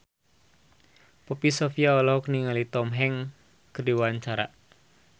Poppy Sovia olohok ningali Tom Hanks keur diwawancara